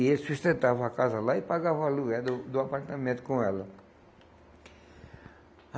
E eles sustentavam a casa lá e pagavam o aluguel do do apartamento com ela.